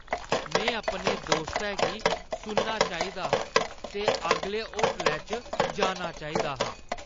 में अपने दोस्तै गी सुनना चाहिदा हा ते अगले होटलै च जाना चाहिदा हा।